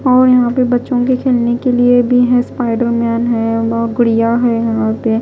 और यहां पे बच्चों के खेलने के लिए भी हैं स्पाइडर मैन है और गुड़िया है यहां पे।